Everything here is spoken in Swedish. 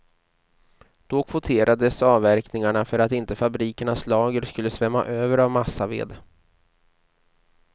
Då kvoterades avverkningarna för att inte fabrikernas lager skulle svämma över av massaved.